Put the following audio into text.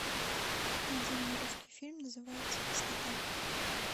найди мне русский фильм называется кислота